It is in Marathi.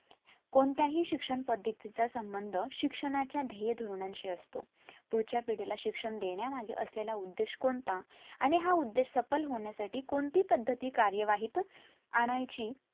कोणत्याही शिक्षण पद्धती चा संबंध शिक्षणाच्या ध्येय धोरणाशी असतो पुढच्या पिढीला शिक्षण देण्यामागे असलेला उद्देश कोणता आणि हा उद्देश सफल होण्यासाठी कोणती पद्धती कार्यवहीत आणायची